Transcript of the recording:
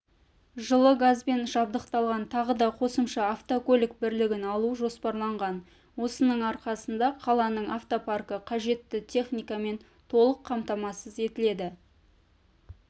жылы газбен жабдықталған тағы да қосымша автокөлік бірлігін алу жоспарланған осының арқасында қаланың автопаркі қажетті техникамен толық қамтамасыз етіледі